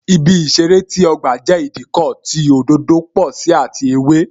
Ibi ìṣeré ti ọgba jẹ́ Ìdíkọ̀ tí òdòdó pò sí àti ewé